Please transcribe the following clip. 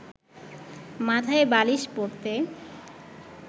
মাথায় বালিশ পড়তে